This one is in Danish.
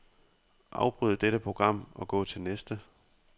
Afbryd dette program og gå til næste.